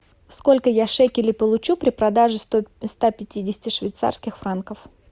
сколько я шекелей получу при продаже ста пятидесяти швейцарских франков